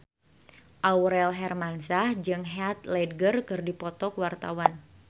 Aurel Hermansyah jeung Heath Ledger keur dipoto ku wartawan